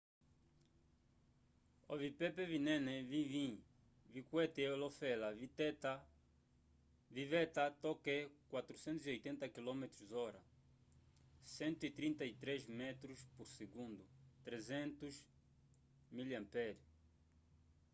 ovipepe vinene vivĩ vikwete olofela viveta toke 480 km/h 133 m/s; 300 mph